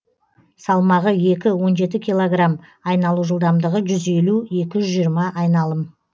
салмағы екі он жеті килограмм айналу жылдамдығы жүз елу екі жүз жиырма айналым